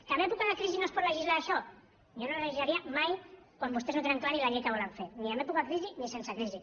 que en època de crisi de no es pot legislar això jo no legislaria mai quan vostès no tenen clar ni la llei que volen fer ni en època de crisi ni sense crisi